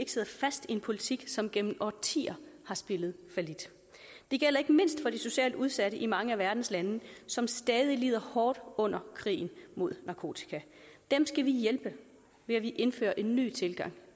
en politik som igennem årtier har spillet fallit det gælder ikke mindst for de socialt udsatte i mange af verdens lande som stadig lider hårdt under krigen mod narkotika dem skal vi hjælpe ved at vi indfører en ny tilgang